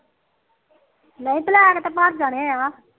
ਨਈ ਬਲੈਕ ਤਾ ਭਰ ਜਾਣੇ ਆ